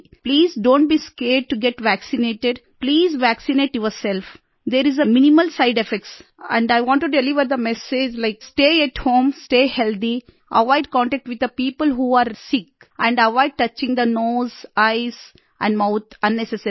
please don't be scared to get vaccinated please vaccinate yourself there is a minimal side effects and I want to deliver the message like stay at home stay healthy avoid contact with the people who are sick and avoid touching the nose eyes and mouth unnecessarily